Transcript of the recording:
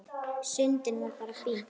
Sundið var bara fínt.